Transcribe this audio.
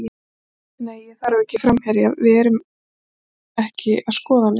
Nei ég þarf ekki framherja, við erum ekki að skoða neitt.